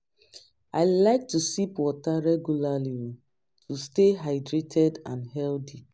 I like to sip water regularly to stay hydrated and healthy.